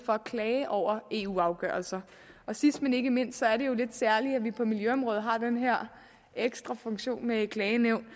at klage over eu afgørelser sidst men ikke mindst er det jo lidt særligt at vi på miljøområdet har den her ekstra funktion med et klagenævn